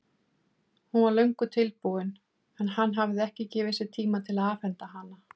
Hún var löngu tilbúin en hann hafði ekki gefið sér tíma til að afhenda hana.